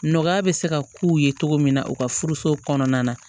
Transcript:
Nɔgɔya bɛ se ka k'u ye cogo min na u ka furuso kɔnɔna na